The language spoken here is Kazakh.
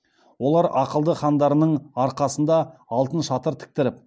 олар ақылды хандарының арқасында алтын шатыр тіктіріп